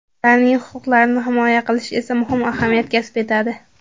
Ularning huquqlarini himoya qilish esa muhim ahamiyat kasb etadi.